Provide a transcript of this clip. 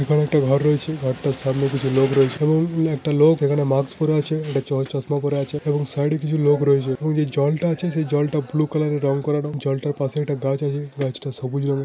এখানে একটা ঘর রয়েছে । ঘর টার সামনে কিছু লোক রয়েছে । এবং একটি লোক যেখানে মাস্ক পরে রয়েছে একটা চশমা পরে আছে সাইড এ কিছু লোক রয়েছে । এবং যে জল টা আছে সেটা ব্লু কালার রং করানোর এবং জল তার পাশে একটা গাছ আছে গাছ তা সবুজ রঙের ।